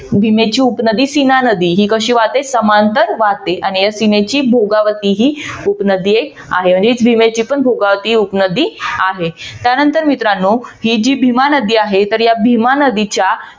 भीमेची उपनदी सिन्हा नदी ही कशी वाहते समांतर वाहते. आणि या सिंन्हेची भोगावती ही उपनदी आहे. म्हणजे भीमेचीही भोगावती उपनदी आहे. त्यानंतर मित्रानो ही जी भीमानदी आहे तर या भीमा नदीच्या